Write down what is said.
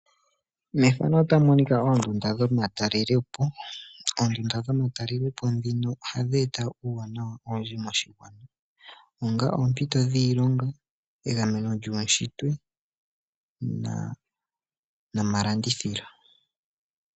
Oondunda dhomatalelepo ohadhi eta uuwanawa owundji moshigwana, ongele oompito dhiilonga, egameno lyuushitwe nomalandithilo.